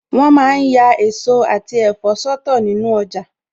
Wọn ma ń ya èso àti ẹ̀fọ́ sọ́tọ̀ nínu ọjà